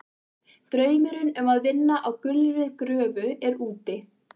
Draumurinn um að vinna á gulri gröfu er úti.